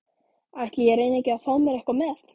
Ætli ég reyni ekki að fá mér eitthvað með.